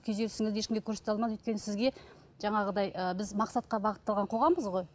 күйзелісіңізді ешкімге көрсете алмадыңыз өйткені сізге жаңағыдай ы біз мақсатқа бағытталған қоғамбыз ғой